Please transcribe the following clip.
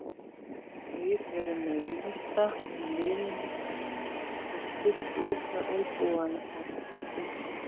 Þeir eru með risa í liðinu sem stukku upp með olnbogana úti.